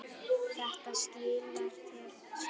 Þetta skilar sér vel.